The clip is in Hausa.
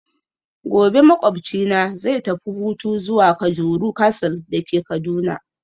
Gobe ​​makwabcina zai tafi hutu zuwa kajuru castle dake Kaduna